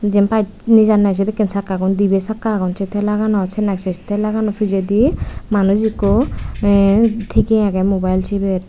jin pai nejanne sedekkin sakka gun dibi sakka agon se thelaganot se thela gano pijedi manuj ekku thiye agey mobile siber.